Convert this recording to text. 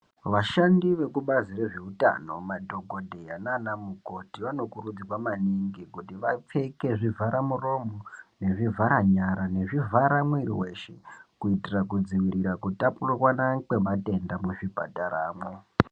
Vashandi vekubazi rezveutano madhokodheya nanamukoti vanokurudzirwa maningi kuti vapfeke zvivharamuromo nezvivhara nyara nezvivhara mwiri weshe kuitira kutapurirwana kwematenda muzvipataramwo.